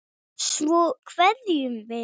Svo kveðjum við.